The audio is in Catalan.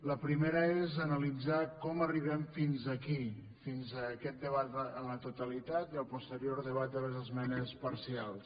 la primera és analitzar com arribem fins aquí fins aquest debat a la totalitat i el posterior debat de les esmenes parcials